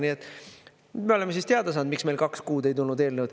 Nii et me oleme siis teada saanud, miks meil kaks kuud ei tulnud eelnõu.